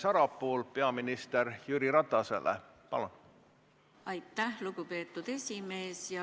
Aitäh, lugupeetud esimees!